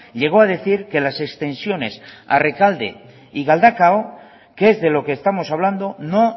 llegó a decir que las extensiones a rekalde y galdakao que es de lo que estamos hablando no